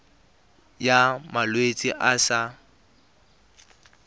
ya malwetse a a sa